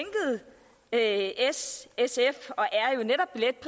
at s sf